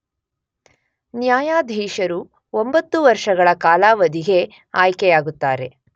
ನ್ಯಾಯಾಧೀಶರು ಒಂಬತ್ತು ವರ್ಷಗಳ ಕಾಲಾವಧಿಗೆ ಆಯ್ಕೆಯಾಗುತ್ತಾರೆ